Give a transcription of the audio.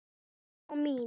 Ljóma mín!